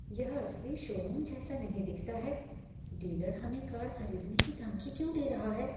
यह असली शोरूम जैसा नहीं दिखता है। डीलर हमें कार खरीदने की धमकी क्यों दे रहा है?